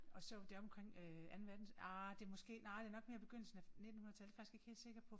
Og så der omkring øh anden nej det måske nej det nok mere begyndelsen af nittenhundredetallet det er jeg faktisk ikke helt sikker på